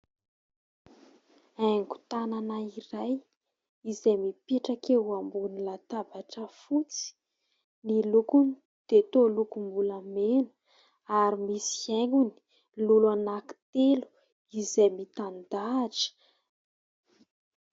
Haingon-tànana iray izay mipetraka eo ambonin'ny latabatra fotsy. Ny lokony dia toa lokombolamena ary misy haingony lolo anankitelo izay mitan-dahatra.